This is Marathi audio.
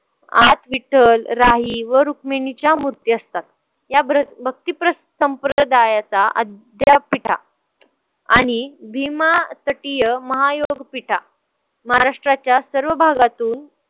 आत विठ्ठल, राही व रुक्मिणीच्या मूर्ती असतात. या भक्ती संप्रदायाचा अद्यापीठा आणि भीमातटीय महयोगपीठा महाराष्ट्राच्या सर्व भागातून